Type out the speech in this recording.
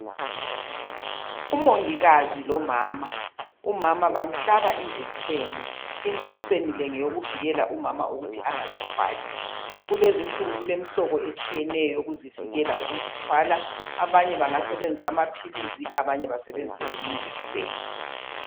Umongikazi lomama. Umama bamhlaba injekiseni. Injekiseni le, ngeyovikela umama ukuthi angazithwali. Kulezinzinsuku kulemihlobo etshiyeneyo, eyokuvikela ukuzithwala. Abanye bangasebenzisa amaphilisi. Abanye bangasebenzise yona injekiseni.